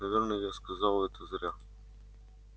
наверное я сказал это зря